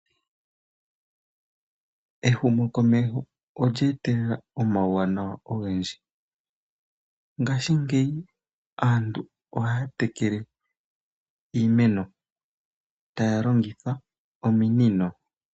Ehumokomeho olyeetelela omauwanawa ogendji ngashingeyi aantu oha ya tekele iimeno taya longitha ominino.